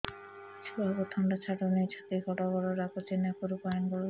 ଛୁଆକୁ ଥଣ୍ଡା ଛାଡୁନି ଛାତି ଗଡ୍ ଗଡ୍ ଡାକୁଚି ନାକରୁ ପାଣି ଗଳୁଚି